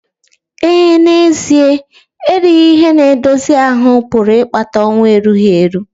Ee, n'ezie erighị ihe na-edozi ahụ́ pụrụ ịkpata ọnwụ erughi eru.